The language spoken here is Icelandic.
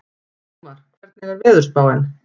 Sigmar, hvernig er veðurspáin?